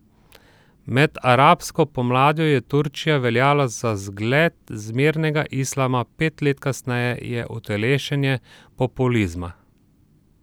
Med arabsko pomladjo je Turčija veljala za zgled zmernega islama, pet let kasneje je utelešenje populizma.